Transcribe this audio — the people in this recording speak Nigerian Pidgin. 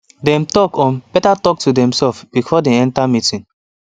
dem dey talk um better talk to themselves before dem enter meeting